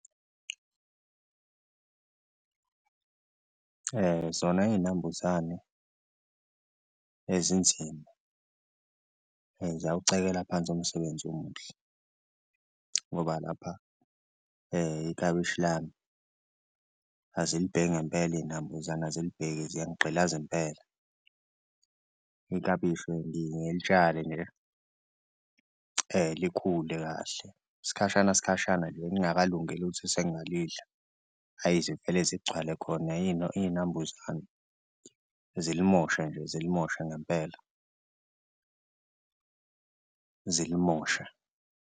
Zona iy'nambuzane ezinzima ziyawucekela phansi umsebenzi omuhle ngoba lapha ikabishi lami azilibheki ngempela iy'nambuzane azilibheki ziyangigqilaza impela, ikabishi ngiyengilitshale likhule kahle isikhashana khashana lingakalungeli ukuthi sengalidlala. Hhayi, zivele zigcwale khona iy'nambuzane, zilimoshe nje zilimoshe ngempela zilimosha.